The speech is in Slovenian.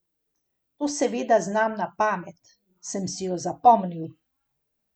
To seveda znam na pamet, sem si jo zapomnil.